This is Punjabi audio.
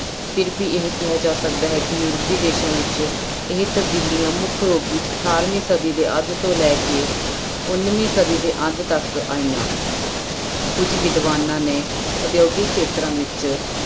ਫਿਰ ਵੀ ਇਹ ਕਿਹਾ ਜਾ ਸਕਦਾ ਹੈ ਕਿ ਯੂਰਪੀ ਦੇਸਾਂ ਵਿੱਚ ਇਹ ਤਬਦੀਲੀਆਂ ਮੁੱਖ ਰੂਪ ਵਿੱਚ ਅਠਾਰਵੀਂ ਸਦੀ ਦੇ ਅੱਧ ਤੋਂ ਲੈ ਉੱਨਵੀਂ ਸਦੀ ਦੇ ਅੰਤ ਤੱਕ ਆਈਆਂ ਕੁੱਝ ਵਿਦਵਾਨਾਂ ਨੇ ਉਦਯੋਗਿਕ ਖੇਤਰਾਂ ਵਿੱਚ